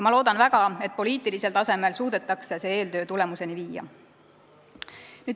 Ma loodan väga, et poliitilisel tasemel suudetakse see eeltöö tulemuseni viia.